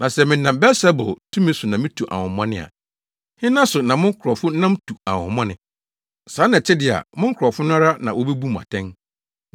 Na sɛ menam Beelsebul tumi so na mitu ahonhommɔne a, hena so na mo nkurɔfo nam tu ahonhommɔne? Saa na ɛte de a, mo nkurɔfo no ara na wobebu mo atɛn.